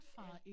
Ja